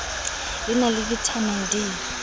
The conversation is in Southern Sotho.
le na le vitamin d